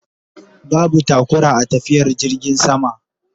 Babu taƙura a tafiyar jirgin sama